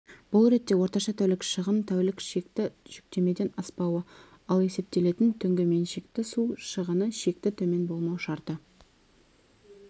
бұл ретте орташа тәулік шығын тәулік шекті жүктемеден аспауы ал есептелетін түнгі меншікті су шығыны шекті төмен болмау шарты